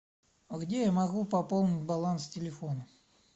а где я могу пополнить баланс телефона